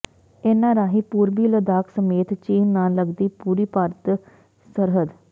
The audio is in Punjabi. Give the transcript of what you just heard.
ਇਨ੍ਹਾਂ ਰਾਹੀਂ ਪੂਰਬੀ ਲੱਦਾਖ ਸਮੇਤ ਚੀਨ ਨਾਲ ਲੱਗਦੀ ਪੂਰੀ ਭਾਰਤੀ ਸਰਹੱਦ